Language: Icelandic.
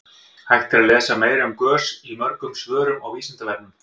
hægt er að lesa meira um gös í mörgum svörum á vísindavefnum